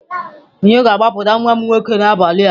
Onye ga-agbapụta nwa m nwoke n'abalị a?